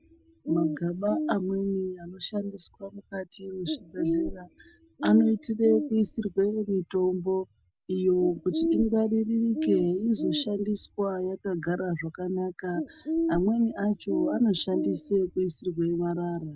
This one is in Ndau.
Magaba amweni anoshandiswa mukati mwezvibhedhlera anoitire kuisirwe mitombo iyo kuti ingwaririke izoshandiswa yakagara zvakanaka. Amweni acho anoshande kuisirwe marara.